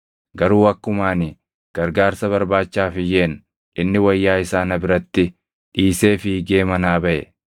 Garuu akkuma ani gargaarsa barbaachaaf iyyeen inni wayyaa isaa na biratti dhiisee fiigee manaa baʼe.”